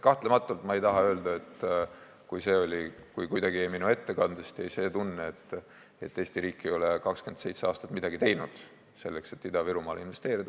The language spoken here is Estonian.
Kahtlematult, ma ei taha öelda – ütlen selleks, et äkki minu ettekandest jäi kuidagi see tunne –, et Eesti riik ei ole 27 aastat midagi teinud, selleks et Ida-Virumaale investeerida.